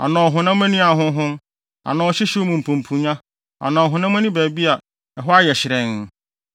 anaa ɔhonam ani ahonhon, anaa ɔhyehyew mu mpumpunnya anaa ɔhonam ani baabi a ɛhɔ ayɛ hyerɛnn.